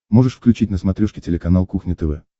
можешь включить на смотрешке телеканал кухня тв